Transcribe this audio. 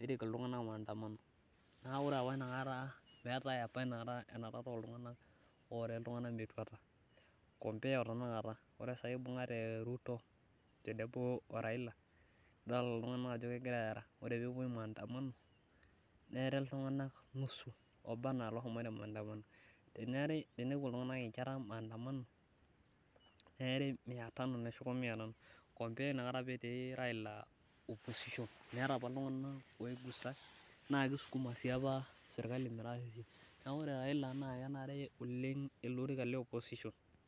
nerik itunganak maanadamano, naa ore apa inakata meeri iltunganak metuata, ore sai ibungata ruto oraila etaa keri iltunganak oleng alang enapakata neeku ore raila naa kenare ele orika le opposition.